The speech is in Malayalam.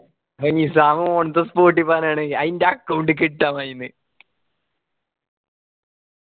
അത് നിസ്സാം on the spot ഈ പറഞ് എണെ ഞാൻ ഇന്റ account ക്ക് ഇട്ടന്നായിന് ന്ന്‌